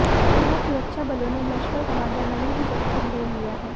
यहां सुरक्षाबलों ने लश्कर कमांडर नवीद जट्ट को घेर लिया है